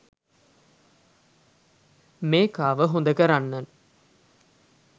මේකාව හොදකරන්න